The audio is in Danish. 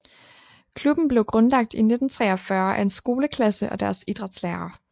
Klubben blev grundlagt i 1943 af en skoleklasse og deres idrætslærer